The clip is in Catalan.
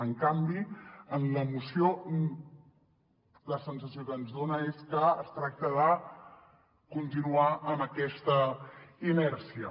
en canvi en la moció la sensació que ens dona és que es tracta de continuar amb aquesta inèrcia